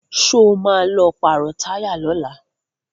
Sọ ma lọ pàrọ̀ táyà lọ́la?